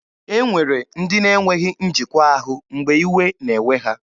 E nwere ndị na-enweghị njikwa ahụ mgbe iwe na-ewe ha.